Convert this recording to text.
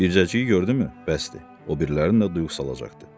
Bircəcəyi gördümü, bəsdir, o birilərinə də duyğu salacaqdı.